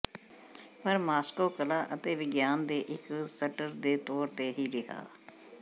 ਪਰ ਮਾਸਕੋ ਕਲਾ ਅਤੇ ਵਿਗਿਆਨ ਦੇ ਇੱਕ ਸਟਰ ਦੇ ਤੌਰ ਤੇ ਹੀ ਰਿਹਾ